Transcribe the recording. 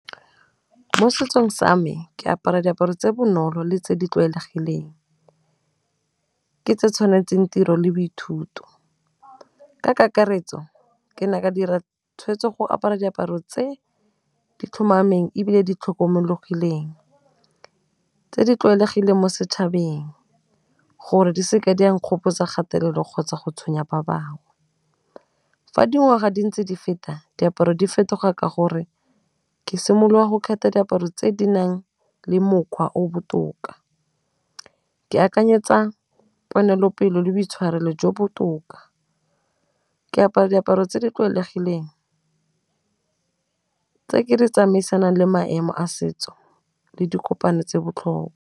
Mo setsong sa me ke apara diaparo tse 'bonolo le tse di tlwaelegileng, ke tse tshwanetseng tiro le boithuti, ka kakaretso ke ne ka dira tshweetso go apara diaparo tse di tlhomameng ebile di tlhomologileng tse di tlwaelegileng mo setšhabeng gore di seke di a nkgopotsa kgatelelo kgotsa go tshwenya ba bangwe. Fa dingwaga di ntse di feta, diaparo di fetoga ka gore ke simolola go kgetha diaparo tse di nang le mokgwa o botoka, ke akanyetsa ponelopele le boitshwarelo jo botoka, ke apara diaparo tse di tlwaelegileng tse ke di tsamaisanang le maemo a setso le dikopano tse botlho .